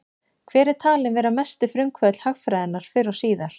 Hver er talinn vera mesti frumkvöðull hagfræðinnar fyrr og síðar?